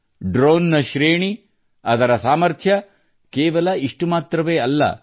drone ನ ಶ್ರೇಣಿ ಅದರ ಸಾಮರ್ಥ್ಯ ಕೇವಲ ಇಷ್ಟು ಮಾತ್ರವಲ್ಲ